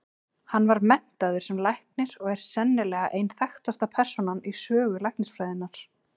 Hann var menntaður sem læknir og er sennilega ein þekktasta persónan í sögu læknisfræðinnar.